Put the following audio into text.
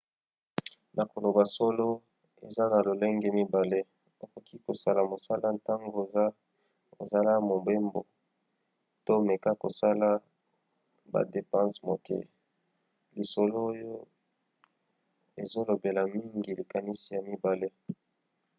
na koloba solo eza na lolenge mibale: okoki kosala mosala ntango ozala mobembo to meka kosala badepanse moke. lisolo oyo ezolobela mingi likanisi ya mibale